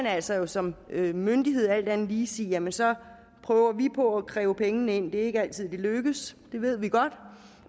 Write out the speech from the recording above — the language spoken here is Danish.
altså som myndighed alt andet lige sige jamen så prøver vi på at kræve pengene ind det er ikke altid det lykkes det ved vi godt